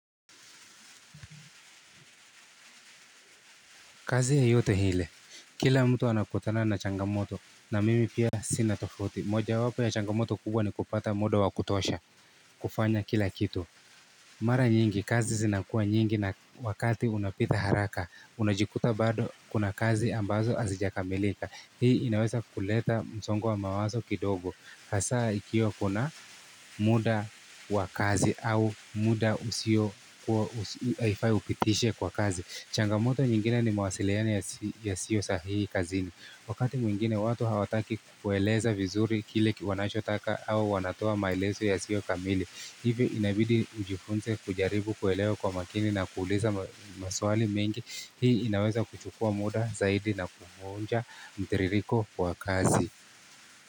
Kazi yeyote hile. Kila mtu anakutana na changamoto na mimi pia sinatofauti. Moja wapo ya changamoto kubwa ni kupata muda wa kutosha. Kufanya kila kitu. Mara nyingi. Kazi zinakua nyingi na wakati unapita haraka. Unajikuta bado kuna kazi ambazo azijakamilika. Hii inawesa kuleta msongo wa mawaso kidogo. Hasa ikiwa kuna muda wa kazi au muda usio kuwa upitishe kwa kazi. Changamoto nyingine ni mawasiliano yasio sahihi kazini. Wakati mwingine watu hawataki kueleza vizuri kile kiwanacho taka au wanatoa maileso yasio kamili. Hivi inabidi nijifunze kujaribu kuelewa kwa makini na kuuliza maswali mengi. Hii inaweza kuchukua muda zaidi na kuvunja mtiririko wa kazi.